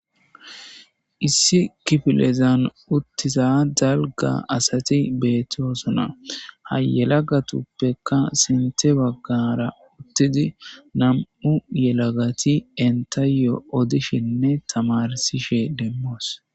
Issi kifilezan uttisa dalga asati beettoosona hayelagatuppeka sinte baggara uttidi nam'u yelagati entayo odishinne tamarsishe demmoos